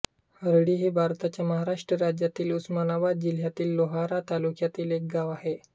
हरळी हे भारताच्या महाराष्ट्र राज्यातील उस्मानाबाद जिल्ह्यातील लोहारा तालुक्यातील एक गाव आहे